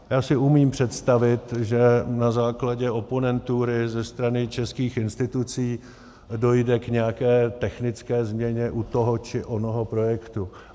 Já si umím představit, že na základě oponentury ze strany českých institucí dojde k nějaké technické změně u toho či onoho projektu.